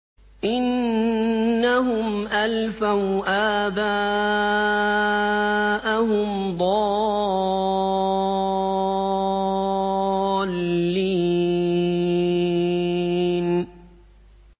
إِنَّهُمْ أَلْفَوْا آبَاءَهُمْ ضَالِّينَ